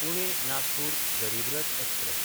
पुणे–नागपूर गरीब रथ एक्सप्रॅस